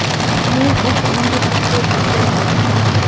Men esa unga futbolchi ekanimni aytdim.